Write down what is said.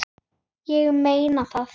Ég meina það!